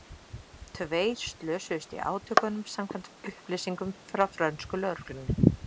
Tveir slösuðust í átökunum samkvæmt upplýsingum frá frönsku lögreglunni.